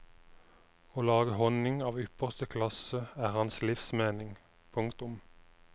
Å lage honning av ypperste klasse er hans livsmening. punktum